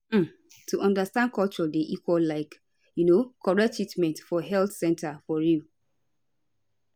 um to understand culture dey equal like um correct treatment for health center for real